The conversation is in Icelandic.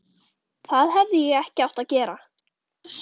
Það hefði ég ekki átt að gera.